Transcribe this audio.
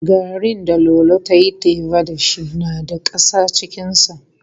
Garrin da Lolo ta yi teba da shi na da ƙasa cikinsa.